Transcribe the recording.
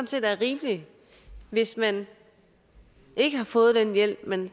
set er rimeligt hvis man ikke har fået den hjælp man